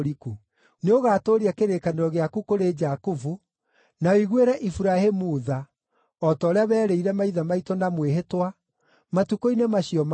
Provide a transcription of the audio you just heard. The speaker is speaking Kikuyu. Nĩũgatũũria kĩrĩkanĩro gĩaku kũrĩ Jakubu, na ũiguĩre Iburahĩmu tha, o ta ũrĩa werĩire maithe maitũ na mwĩhĩtwa matukũ-inĩ macio ma tene.